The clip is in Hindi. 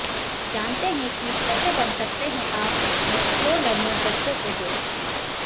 जानते हैं कि कैसे बन सकते हैं आप अपने स्लो लर्नर बच्चों के दोस्त